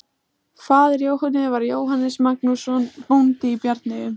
Faðir Jóhönnu var Jóhannes Magnússon, bóndi í Bjarneyjum.